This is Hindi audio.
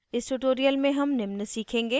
इस tutorial में हम निम्न सीखेंगे